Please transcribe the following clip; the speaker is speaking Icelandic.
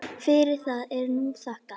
Fyrir það er nú þakkað.